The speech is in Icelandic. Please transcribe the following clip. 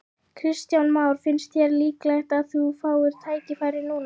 Kristján Már: Finnst þér líklegt að þú fáir tækifæri núna?